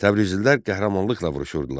Təbrizlilər qəhrəmanlıqla vuruşurdular.